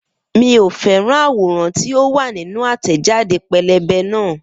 Miò fẹ́ràn àwòrán tí ó wà nínú àtẹ̀jáde pẹ́lẹ́bẹ́ náà